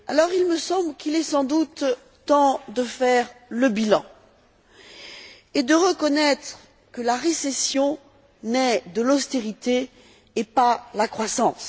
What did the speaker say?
Il me semble qu'il est sans doute temps de faire le bilan et de reconnaître que c'est la récession qui naît de l'austérité et pas la croissance.